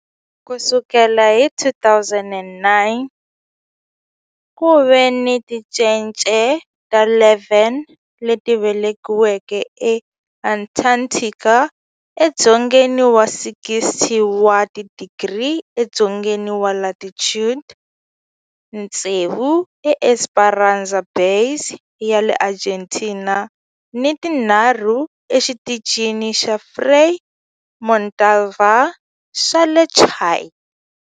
Ku sukela hi 2009, ku ve ni tincece ta 11 leti velekiweke eAntarctica, edzongeni wa 60 wa tidigri edzongeni wa latitude, tsevu eEsperanza Base ya le Argentina ni tinharhu eXitichini xa Frei Montalva xa le Chile.